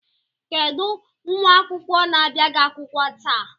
Kedụ nwa akwụkwọ na-abịaghị akwụkwọ taa?